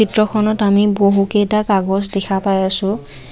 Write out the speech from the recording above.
চিত্ৰখনত আমি বহুকেইটা কাগজ দেখা পাই আছোঁ।